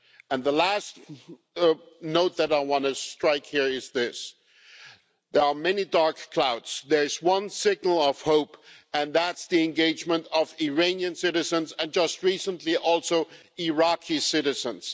And the last note that I want to strike here is this there are many dark clouds, there is one signal of hope and that's the engagement of Iranian citizens, and just recently also Iraqi citizens.